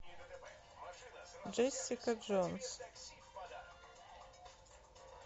джессика джонс